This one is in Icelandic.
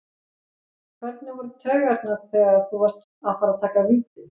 Hvernig voru taugarnar þegar þú varst að fara að taka víti?